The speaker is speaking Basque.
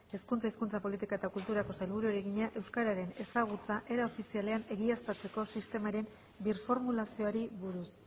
hezkuntza hizkuntza politika eta kulturako sailburuari egina euskararen ezagutza era ofizialean egiaztatzeko sistemaren birformulazioari buruz